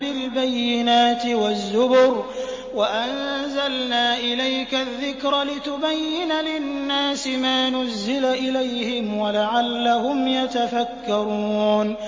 بِالْبَيِّنَاتِ وَالزُّبُرِ ۗ وَأَنزَلْنَا إِلَيْكَ الذِّكْرَ لِتُبَيِّنَ لِلنَّاسِ مَا نُزِّلَ إِلَيْهِمْ وَلَعَلَّهُمْ يَتَفَكَّرُونَ